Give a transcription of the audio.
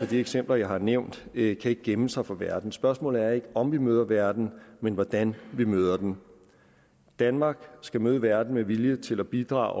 de eksempler jeg har nævnt ikke kan gemme sig for verden spørgsmålet er ikke om vi møder verden men hvordan vi møder den danmark skal møde verden med vilje til at bidrage